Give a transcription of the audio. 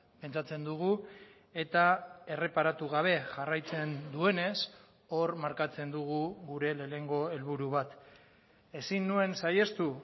pentsatzen dugu eta erreparatu gabe jarraitzen duenez hor markatzen dugu gure lehenengo helburu bat ezin nuen saihestu